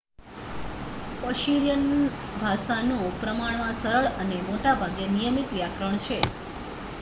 Persian ભાષાનું પ્રમાણમાં સરળ અને મોટા ભાગે નિયમિત વ્યાકરણ છે